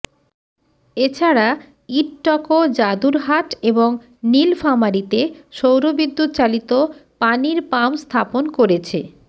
এ ছাড়া ইডটকো যাদুরহাট এবং নীলফামারীতে সৌরবিদ্যুত চালিত পানির পাম্প স্থাপন করেছে